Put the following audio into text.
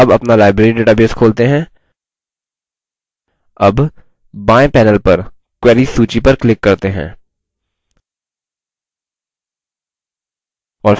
अब अपना library database खोलते हैं अब बाएँ panel पर queries सूची पर click करते हैं